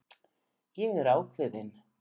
Ég er ákveðin.